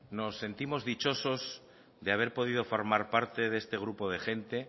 nos sentimos dichosos de haber podido formar parte de este grupo de gente